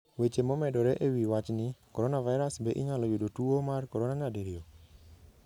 Weche momedore e wi wachni: Coronavirus: Be inyalo yudo tuwo mar corona nyadiriyo?